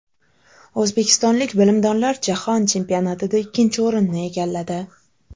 O‘zbekistonlik bilimdonlar jahon chempionatida ikkinchi o‘rinni egalladi.